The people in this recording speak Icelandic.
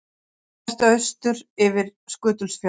Horft austur yfir Skutulsfjörð.